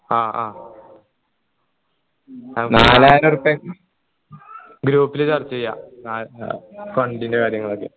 അ ആ നാലായിരം ഉറുപ്പിയ്ക്ക് group ൽ ചർച്ച ചെയ fund ൻ്റെ കാര്യങ്ങളൊക്കെ